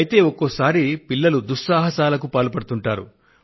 అయితే ఒక్కొక్క సారి పిల్లలు దుస్సాహసాలకు పాల్పడుతుంటారు